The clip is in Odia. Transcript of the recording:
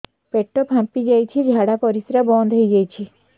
ପେଟ ଫାମ୍ପି ଯାଇଛି ଝାଡ଼ା ପରିସ୍ରା ବନ୍ଦ ହେଇଯାଇଛି